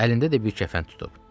Əlində də bir kəfən tutub.